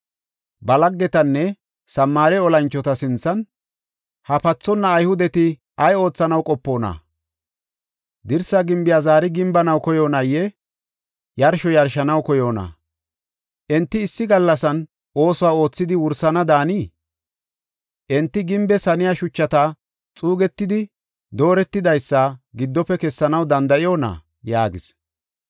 Ba laggetanne Samaare olanchota sinthan, “Ha pathonna Ayhudeti ay oothanaw qopoona? Dirsa gimbiya zaari gimbanaw koyoonayee? Yarsho yarshanaw koyoonayee? Enti issi gallasan oosuwa oothidi wursana daanii? Enti gimbees haniya shuchata xuugetidi dooretidaysa giddofe kessanaw danda7oona?” yaagis.